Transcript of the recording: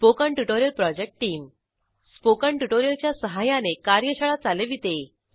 spoken tutorial project team spoken tutorial च्या सहाय्याने कार्यशाळा चालविते